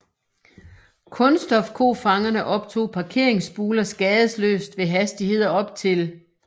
Kunststofkofangerne optog parkeringsbuler skadesløst ved hastigheder op til